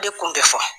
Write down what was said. De kun bɛ fɔ